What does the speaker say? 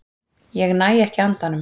Ég næ ekki andanum.